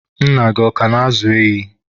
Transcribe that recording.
Nna gị ọ ka na-ázụ̀ ehi?